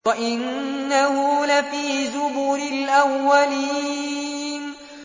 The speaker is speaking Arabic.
وَإِنَّهُ لَفِي زُبُرِ الْأَوَّلِينَ